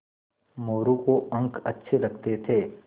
मोरू को अंक अच्छे लगते थे